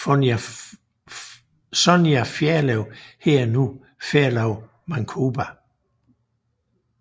Sonja Ferlov hedder nu Ferlov Mancoba